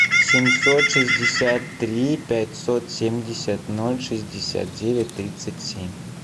семьсот шестьдесят три пятьсот семьдесят ноль шестьдесят девять тридцать семь